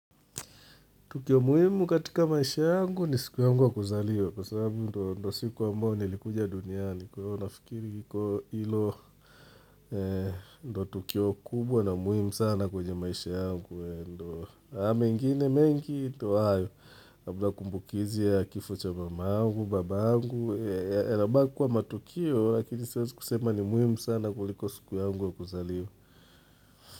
Tukio muhimu katika maisha yangu ni siku yangu wa kuzaliwa kwa sababu ndo siku wa mbao nilikuja dunia ni kuyo nafikiri kiko ilo ndo tukio kubwa na muhimu sana kwenye maisha yangu ndo Haa mengine mengi ndo ayo, habla kumbukizi ya kifocha mama angu, baba angu, elaba kwa matukio lakini siwazi kusema ni muhimu sana kuliko siku yangu wa kuzalio.